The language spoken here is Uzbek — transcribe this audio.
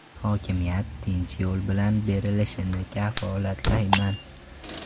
Hokimiyat tinch yo‘l bilan berilishini kafolatlayman.